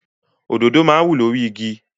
Òdodo máa ń wù lórí igi.